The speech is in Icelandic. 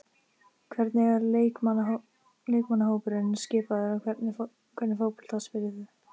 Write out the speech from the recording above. Hvernig er leikmannahópurinn skipaður og hvernig fótbolta spilið þið?